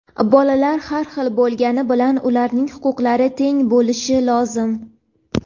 Bolalar har xil bo‘lgani bilan ularning huquqlari teng bo‘lishi lozim.